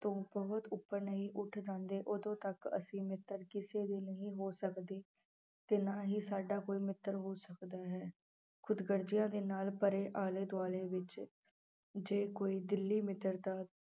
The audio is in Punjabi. ਤੋਂ ਬਹੁਤ ਉੱਪਰ ਨਹੀਂ ਉੱਠ ਜਾਂਦੇ ਉਦੋਂ ਤੱਕ ਅਸੀਂ ਮਿੱਤਰ ਕਿਸੇ ਦੇ ਨਹੀਂ ਹੋ ਸਕਦੇ ਤੇ ਨਾ ਹੀ ਸਾਡਾ ਕੋਈ ਮਿੱਤਰ ਹੋ ਸਕਦਾ ਹੈ ਖੁਦਗਰਜ਼ੀਆਂ ਦੇ ਨਾਲ ਭਰੇ ਆਲੇ ਦੁਆਲੇ ਵਿੱਚ ਜੇ ਕੋਈ ਦਿਲੀ ਮਿੱਤਰਤਾ